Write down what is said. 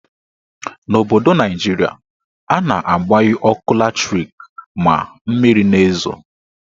N'obodo Naijiria, a na-agbanyu ọkụ latrik ma mmiri na-ezo.